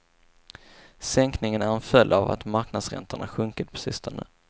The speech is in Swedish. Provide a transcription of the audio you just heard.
Sänkningen är en följd av att marknadsräntorna sjunkit på sistone.